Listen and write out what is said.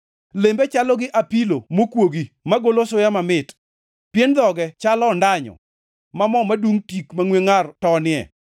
Lembe chalo gi apilo mokuogi magolo suya mamit. Pien dhoge chalo ondanyo, ma mo madungʼ tik mangʼwe ngʼar tonie.